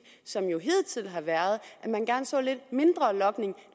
som jo hidtil har været at man gerne så lidt mindre logning